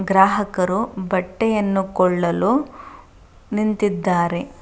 ಗ್ರಾಹ ಕಾರು ಬಟ್ಟೆಯನ್ನು ಕೊಳ್ಳಲು ನಿಂತಿದ್ದಾರೆ.